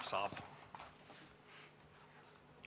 Palun!